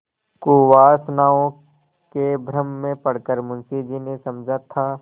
कुवासनाओं के भ्रम में पड़ कर मुंशी जी ने समझा था